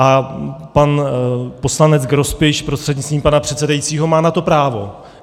A pan poslanec Grospič prostřednictvím pana předsedajícího má na to právo.